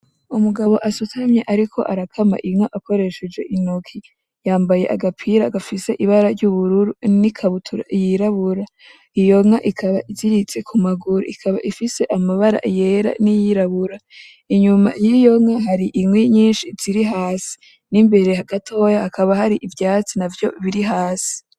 Umugabo asutamye ariko arakama inka akoresheje intoki. Yambaye agapira gafise ibara ry’ubururu n’ikabutura yirabura. Iyo nka ikaba ihagaze ku maguru, ikaba ifise amabara yera n'ayirabura. Inyuma y’iyo nka hari inkwi nyinshi ziri hasi, n’imbere gatoya hakaba hari ivyatsi navyo biri hasi.